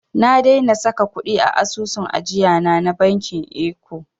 Na daina saka kuɗi a asusun ajiyana na bankin eko.